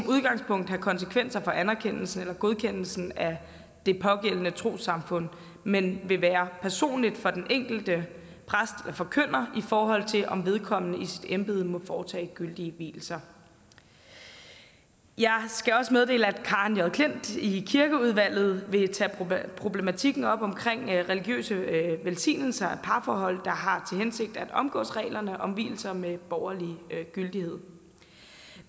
udgangspunktet have konsekvenser for anerkendelsen eller godkendelsen af det pågældende trossamfund men vil være personlig for den enkelte præst eller forkynder i forhold til om vedkommende i sit embede må foretage gyldige vielser jeg skal også meddele at karen j klint i kirkeudvalget vil tage problematikken op omkring religiøse velsignelser af parforhold der har hensigt at omgå reglerne om vielser med borgerlig gyldighed